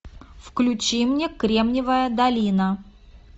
включи мне кремниевая долина